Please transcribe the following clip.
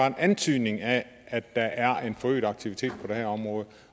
en antydning af at der er en forøget aktivitet på det her område